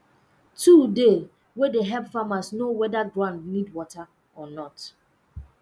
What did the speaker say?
tool dey wey de help farmers know wether ground need water or not